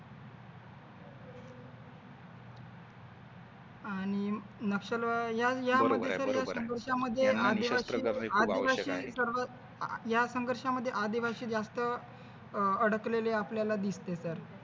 आणि नक्षलवाद यामध्ये तर जास्तच पक्षांमध्ये आदिवासी या संघर्षामध्ये आदिवासी जास्त अह अडकलेले आपल्याला दिसते तर